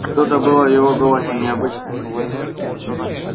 что-то было в его голосе необычное